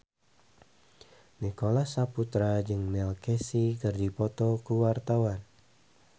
Nicholas Saputra jeung Neil Casey keur dipoto ku wartawan